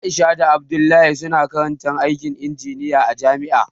Aisha da Abdullahi suna karantar aikin injiniya a jami'a